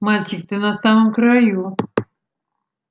мальчик ты на самом краю